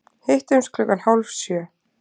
Hittumst klukkan hálf sjö.